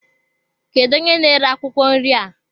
Kedụ onye na-ere akwụkwọ nri a?